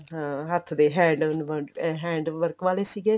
ਹਾਂ ਹੱਥ ਦੇ hand ਅਹ hand work ਵਾਲੇ ਸੀਗੇ